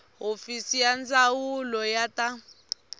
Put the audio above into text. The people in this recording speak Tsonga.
hofisi ya ndzawulo ya ta